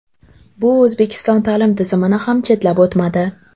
Bu O‘zbekiston ta’lim tizimini ham chetlab o‘tmadi.